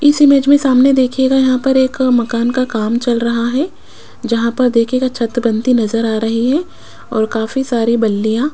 इस इमेज में सामने देखियेगा यहां पर एक मकान का काम चल रहा है जहां पर देखियेगा छत बनती नजर आ रही है और काफी सारी बल्लीया --